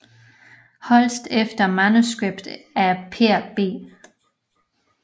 Holst efter manuskript af Per B